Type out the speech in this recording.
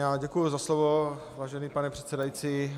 Já děkuji za slovo, vážený pane předsedající.